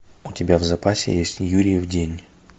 у тебя в запасе есть юрьев день